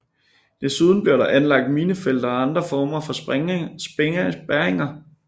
Desuden blev der anlagt minefelter og andre former for spærringer